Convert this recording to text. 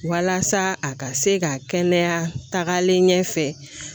Walasa a ka se ka kɛnɛya tagalen ɲɛfɛ